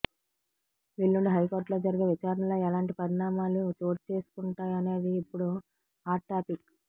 ఎల్లుండి హైకోర్టులో జరిగే విచారణలో ఎలాంటి పరిణామాలు చోటుచేసుకుంటాయనేది ఇప్పుడు హాట్ టాపిక్